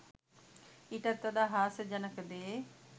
ඊටත් වඩා හාස්‍යජනක දේ